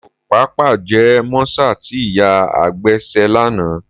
Mi ò pàpà jẹ mọ́sà tí ìyá àgbà ṣe lánàá